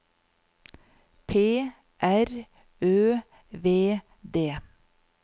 P R Ø V D